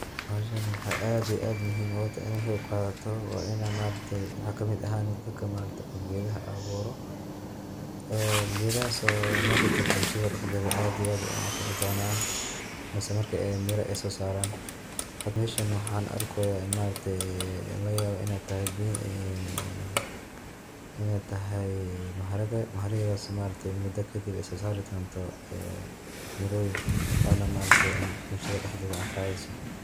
Bahashan maxay aad iyo aad muhiim ogu tahay inay kaqeqadato waa ina ma aragte waxad kamid ahani dadka ma aragte gedaha abuuro ,ee gedahas oo marka dambe bulshada dhaxdeeda aad iyo aad u anfici donaan mise marki ay mira soo saran hada meshan waxan arkoya laga yawaa inay tahay maharage, maharageedas oo muda kadib ay soo saridonto ee miroyin ona ma aragte bulshada dhaxdeeda anfaceyso